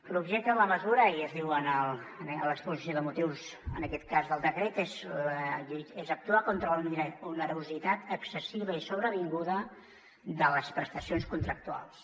l’objecte de la mesura i es diu anar a l’exposició de motius en aquest cas del decret és actuar contra una onerositat excessiva i sobrevinguda de les prestacions contractuals